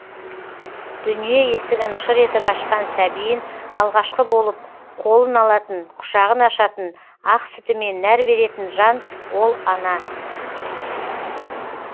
дүние есігін шыр етіп ашқан сәбиін алғашқы болып қолын алатын құшағын ашатын ақ сүтімен нәр беретін жан ол ана